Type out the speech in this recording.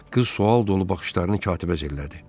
Qız sual dolu baxışlarını katibə zillədi.